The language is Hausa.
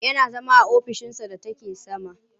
Yana zama a ofishinsa da take sama.